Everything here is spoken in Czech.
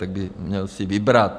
Tak by měl si vybrat.